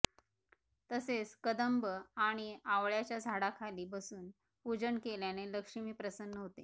तसेच कदंब आणि आवळ्याच्या झाडाखाली बसून पूजन केल्याने लक्ष्मी प्रसन्न होते